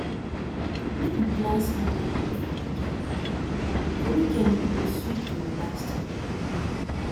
make we plan small picnic for weekend e for weekend e go sweet to relax together